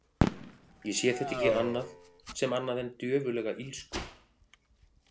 Ég sé þetta ekki annað sem annað en djöfullega illsku.